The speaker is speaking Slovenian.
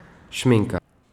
Šminka.